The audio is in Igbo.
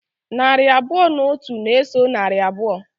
Narị abụọ na otu na-eso narị abụọ.